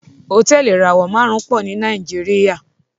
Hotẹẹli ìràwọ márùn pọ ní Nàìjíríà